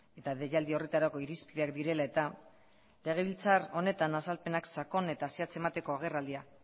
eta deialdi horretarako irizpideak direla eta legebiltzar honetan azalpenak sakon eta zehatz emateko agerraldia